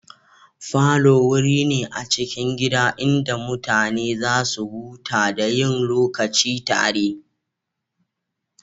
Falo wuri ne a cikin gida inda mutane za su huta da yin lokaci tare.